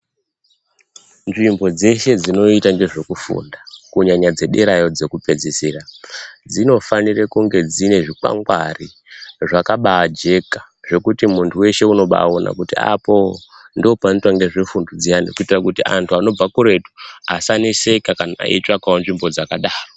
Nzvimbo dzeshe dzinoita ngezvekufunda, kunyanya dzederayo dzekupedzisira. Dzinofanire kunge dzine zvikwangwari zvakabaajeka zvekuti muntu weshe unobaaona kuti apo ndoopanoitwa ngezvefundo dziyani. Kuita kuti antu anobva kuretu asaneseka kana eitsvakawo nzvimbo dzakadaro.